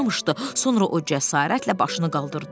Sonra o cəsarətlə başını qaldırdı.